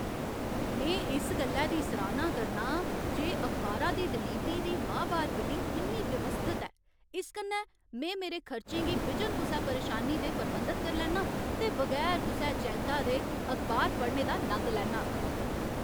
में इस गल्ला दी सराह्ना करना आं जे अखबारा दी डलीवरी दी माह्बार बिलिंग किन्नी व्यवस्थत ऐ। इस कन्नै में मेरे खर्चें गी बिजन कुसै परेशानी दे प्रबंधत करी लैन्नां ते बगैर कुसै चिंता दे अखबार पढ़ने दा नंद लैन्नां।